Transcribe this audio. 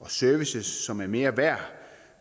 og services som er mere værd